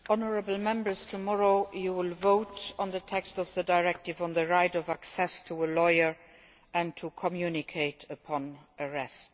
Mr President, honourable Members, tomorrow you will vote on the text of the directive on the right of access to a lawyer and to communicate upon arrest.